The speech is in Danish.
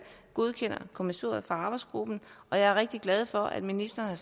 godkender kommissoriet fra arbejdsgruppen og jeg er rigtig glad for at ministeren